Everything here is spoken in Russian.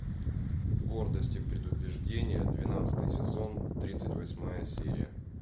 гордость и предубеждение двенадцатый сезон тридцать восьмая серия